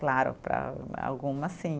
Claro, para algumas, sim.